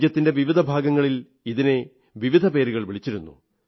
രാജ്യത്തിന്റെ വിവിധ ഭാഗങ്ങളിൽ ഇതിന് വിവിധ പേരുകൾ വിളിച്ചിരുന്നു